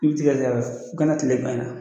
Kultigɛ diyara u kana tigɛ banna